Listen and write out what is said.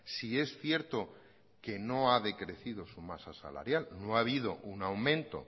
si es cierto que no ha decrecido su masa salarial no ha habido un aumento